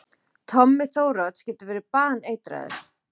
Tommi Þórodds getur verið baneitraður!